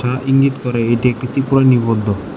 আ ইঙ্গিত করে এটি একটি ত্রিপল নিবদ্ধ।